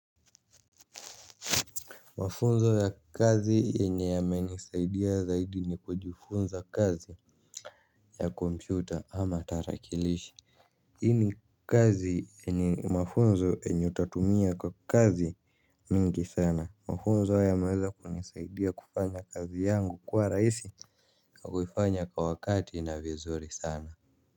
Mafunzo ya kazi yenye yamenisaidia zaidi ni kujifunza kazi ya kompyuta ama tarakilishi. Hii ni kazi ni mafunzo yenye utatumia kwa kazi mingi sana mafunzo yameweza kunisaidia kufanya kazi yangu kuwa raisi. Na kufanya kwa wakati na vizuri sana Muzika.